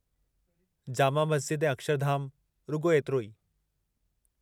जामा मस्ज़िद ऐं अक्षरधाम, रुॻो एतिरो ई।